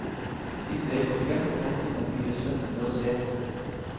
Inne i borgen kan man finne mye spennende å se på.